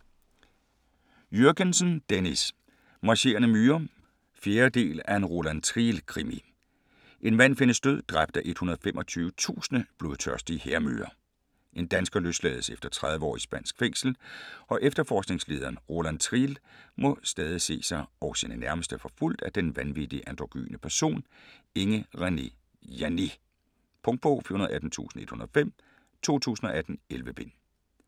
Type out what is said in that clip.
Jürgensen, Dennis: Marcherende myrer 4. del af En Roland Triel krimi. En mand findes død, dræbt af 125.000 blodtørstige hærmyrer. En dansker løslades efter 30 år i spansk fængsel, og efterforskningslederen Roland Triel må stadig se sig og sine nærmeste forfulgt af den vanvittige androgyne person, Inge Renee Janné. Punktbog 418105 2018. 11 bind.